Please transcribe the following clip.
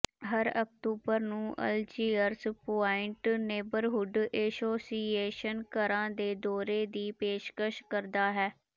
ਹਰ ਅਕਤੂਬਰ ਨੂੰ Algiers Point Neighbourhood Association ਘਰਾਂ ਦੇ ਦੌਰੇ ਦੀ ਪੇਸ਼ਕਸ਼ ਕਰਦਾ ਹੈ